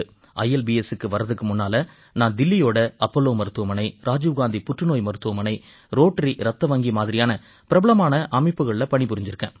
ILBSக்கு வர்றதுக்கு முன்னால நான் தில்லியோட அப்போலோ மருத்துவமனை ராஜீவ் காந்தி புற்றுநோய் மருத்துவமனை ரோட்டரி ரத்தவங்கி மாதிரியான பிரபலமான அமைப்புகள்ல பணிபுரிஞ்சிருக்கேன்